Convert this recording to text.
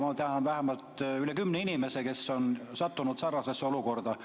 Ma tean üle kümne inimese, kes on sattunud sarnasesse olukorda.